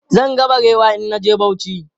Zan ga barewa in na je Bauchi.